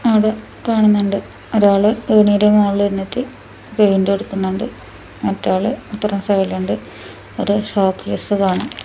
അവിടെ കാണുന്നുണ്ട് ഒരാൾ ഏണിയുടെ മുകളിൽ നിന്നിട്ട് പെയിന്റ് അടിക്കുന്നുണ്ട് മറ്റേ ആൾ അപ്പറം സൈഡിൽ ഉണ്ട് ഒരു ഷോകേസ് കാണാം.